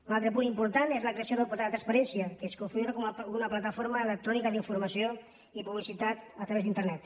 un altre punt important és la creació del portal de la transparència que es configura com una plataforma electrònica d’informació i publicitat a través d’internet